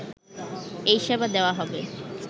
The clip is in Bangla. এই সেবা দেয়া হবে